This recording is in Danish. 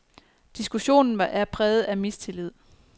Diskussionen er præget af mistillid.